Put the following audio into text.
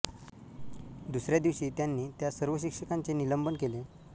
दुसऱ्या दिवशी त्यांनी त्या सर्व शिक्षकांचे निलंबन केले